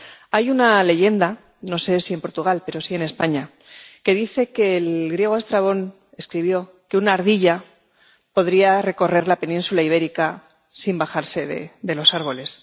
Hay una leyenda —no sé si en Portugal, pero sí en España— que dice que el griego Estrabón escribió que una ardilla podría recorrer la península ibérica sin bajarse de los árboles.